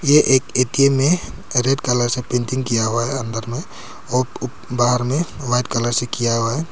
ये एक ए_टी_एम है रेड कलर से पेंटिंग किया हुआ है अंदर में और उ बाहर में वाइट कलर से किया हुआ है।